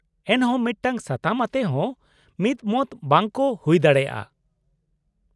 -ᱮᱱᱦᱚᱸ ᱢᱤᱫᱴᱟᱝ ᱥᱟᱛᱟᱢ ᱟᱛᱮ ᱦᱚᱸ ᱢᱤᱫᱢᱚᱛ ᱵᱟᱝ ᱠᱚ ᱦᱩᱭ ᱫᱟᱲᱮᱭᱟᱜᱼᱟ ᱾